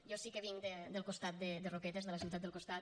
jo sí que vinc del costat de roquetes de la ciutat del costat